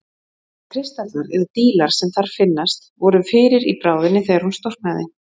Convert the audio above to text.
Þeir kristallar, eða dílar, sem þar finnast voru fyrir í bráðinni þegar hún storknaði.